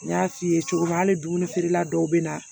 N y'a f'i ye cogo min hali dumuni feerela dɔw bɛ na